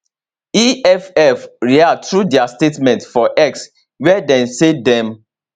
eff react through dia statement for x wia dem say dem